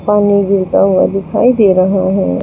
पानी गिरता हुआ दिखाई दे रहा है।